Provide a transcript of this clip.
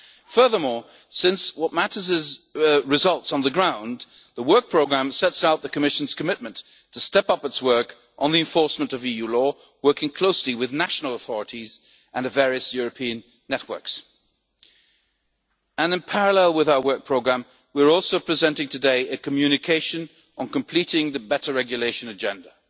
rule of law. Furthermore, since what matters is results on the ground, the Work Programme sets out the Commission's commitment to step up its work on the enforcement of EU law, working closely with national authorities and the various European networks. In parallel with our Work Programme, we are also presenting today a communication on completing the Better Regulation